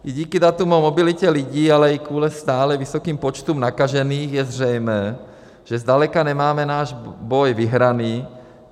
I díky datům o mobilitě lidí, ale i kvůli stále vysokým počtům nakažených je zřejmé, že zdaleka nemáme náš boj vyhraný.